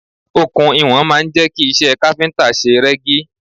Okùn iwọ̀n máa ń jẹ́ kí iṣẹ́ káfíntà ṣe rẹ́gí.